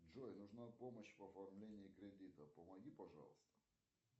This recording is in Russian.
джой нужна помощь в оформлении кредита помоги пожалуйста